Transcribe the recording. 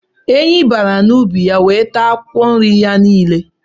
Ehi bara n'ubi ya wee taa akwụkwọ nri ya niile